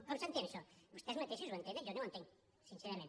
com s’entén això vostès mateixos ho entenen jo no ho entenc sincerament